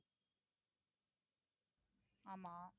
ஆமா